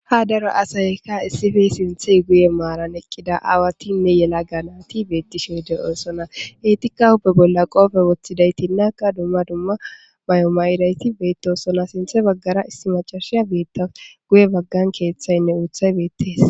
Ha daro asayka issippe sinththe guye maaran eqqida aawatinne yelagati beettishe de'osona eetikka huppe bolla qoobe woththidayti naakka dumma dumma mayo mayidayti beettosona sinththe baggara issi maccashiya beettawus guye baggan keeththaynne uuthay beettees.